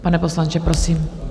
Pane poslanče, prosím.